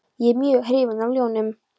Ég er mjög hrifinn af ljónum.